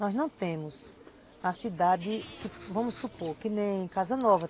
Nós não temos uma cidade que, vamos supor, que nem Casa Nova.